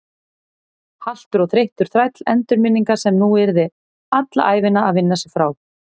Haltur og þreyttur þræll endurminninga sem hún yrði alla ævina að vinna sig frá.